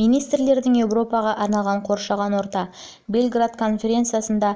министрлердің еуропаға арналған қоршаған орта белград қазан жыл алтыншы конференцисында